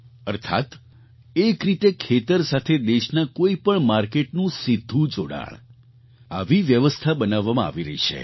અર્થાત્ એક રીતે ખેતર સાથે દેશના કોઈ પણ માર્કેટનું સીધું જોડાણ આવી વ્યવસ્થા બનાવવામાં આવી રહી છે